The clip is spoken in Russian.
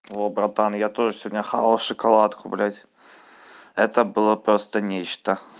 о братан я тоже сегодня хавал шоколадку бдядь это было просто нечто